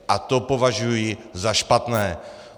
A to považuji za špatné.